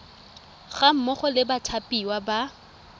ga mmogo le bathapiwa ba